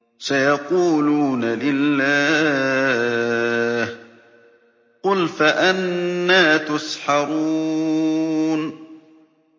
سَيَقُولُونَ لِلَّهِ ۚ قُلْ فَأَنَّىٰ تُسْحَرُونَ